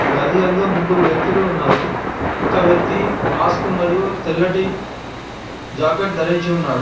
గది యందు ముగ్గురు వ్యక్తులు ఉన్నారు ఒక వ్యక్తి మాస్క్ మరియు తెల్లటి జాకెట్ ధరించి ఉన్నాడు.